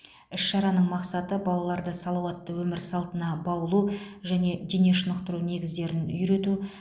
іс шараның мақсаты балаларды салауатты өмір салтына баулу және дене шынықтыру негіздерін үйрету